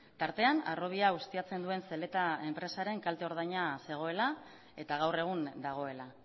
tartean harrobia ustiatzen duen zeleta enpresaren kalte ordaina zegoela eta gaur egun dagoela